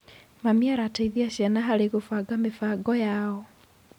Mami araciteithia ciana harĩ gũbanga mĩbango yao.